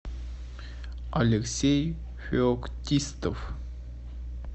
алексей феоктистов